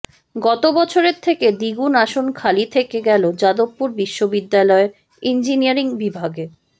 গত বছরের থেকে দ্বিগুণ আসন খালি থেকে গেল যাদবপুর বিশ্ববিদ্যালয়ের ইঞ্জিনিয়ারিং বিভাগে